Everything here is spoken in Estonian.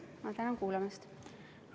Ma tänan kuulamast!